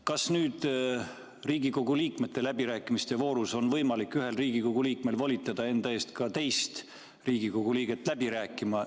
Kas nüüd Riigikogu liikmete läbirääkimiste voorus on ka võimalik ühel Riigikogu liikmel volitada enda eest teist Riigikogu liiget läbi rääkima?